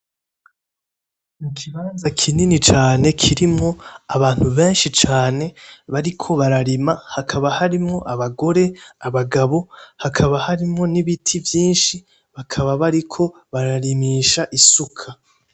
Ikibanza kinini cane kirimwo abantu benshi cane bariko bararima hakaba harimwo abagore ,abagabo, hakaba harimwo n'ibiti vyinshi bakaba bariko bararimisha isuka .